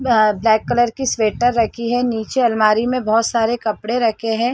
Black colour की sweater रखी है नीचे अलमारी में बहुत सारे कपड़े रखे हैं।